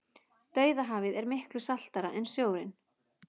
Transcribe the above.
dauðahafið er miklu saltara en sjórinn